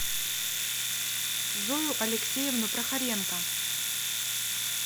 зою алексеевну прохоренко